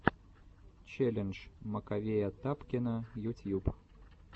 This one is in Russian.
челлендж маковея тапкина ютьюб